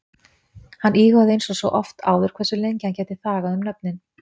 Hann íhugaði einsog svo oft áður hversu lengi hann gæti þagað um nöfnin?